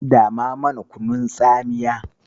Dama mana kunun tsamiya.